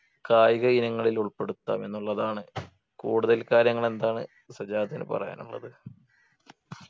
കായിക ഇനങ്ങളിൽ ഉൾപ്പെടുത്താം എന്നുള്ളതാണ് കൂടുതൽ കാര്യങ്ങൾ എന്താണ് സജാദിനു പറയാനുള്ളത്